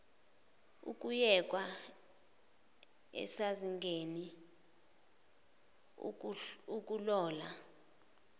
ukuyekwa asezingeni akulona